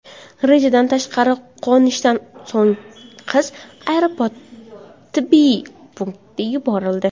Rejadan tashqari qo‘nishdan so‘ng qiz aeroport tibbiy punktiga yuborildi.